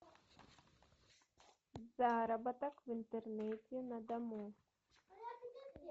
заработок в интернете на дому